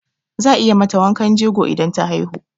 Za a yi mata wankan jego idan ta haihu.